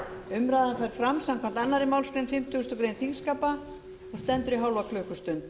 umræðan fer fram samkvæmt annarri málsgrein fimmtugustu grein þingskapa og stendur í hálfa klukkustund